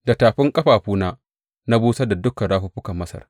Da tafin ƙafafuna na busar da dukan rafuffukan Masar.’